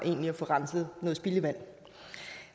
at få renset noget spildevand